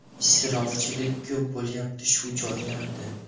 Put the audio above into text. Isrofgarchilik ko‘p bo‘lyapti shu joylarda.